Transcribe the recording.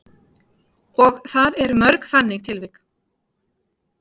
Og það eru mörg þannig tilvik?